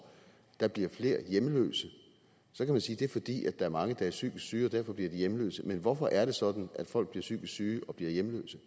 der bliver flere hjemløse så kan man sige at det er fordi der er mange der er psykisk syge og derfor bliver de hjemløse men hvorfor er det sådan at folk bliver psykisk syge og bliver hjemløse